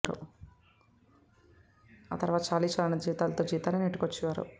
ఆ తర్వాత చాలీ చాలనీ జీతాలతో జీవితాన్ని నెట్టుకొచ్చే వారు